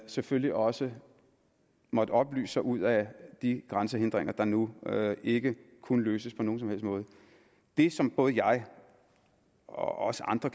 selvfølgelig også måttet oplyse sig ud af de grænsehindringer der nu ikke kunne løses på nogen som helst måde det som både jeg og andre